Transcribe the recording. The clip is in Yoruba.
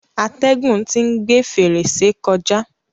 Atẹ́gùn tí ń gbe fèrèsé kọjá.